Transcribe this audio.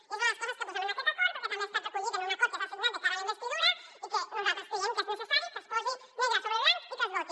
i és una de les coses que posem en aquest acord perquè també ha estat recollit en un acord que s’ha signat de cara a la investidura i que nosaltres creiem que és necessari que es posi negre sobre blanc i que es voti